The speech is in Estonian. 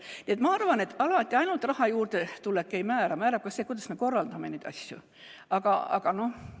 Nii et ma arvan, et alati ainult raha juurdetulek ei määra, määrab ka see, kuidas me neid asju korraldame.